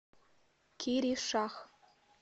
киришах